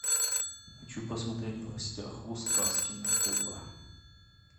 хочу посмотреть в гостях у сказки на тв